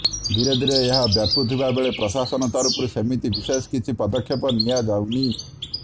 ଧୀରେ ଧୀରେ ଏହା ବ୍ୟପୁଥିବା ବେଳେ ପ୍ରଶାସନ ତରଫରୁ ସେମିତି ବିଶେଷ କିଛି ପଦକ୍ଷେପ ନିଆଯାଉନି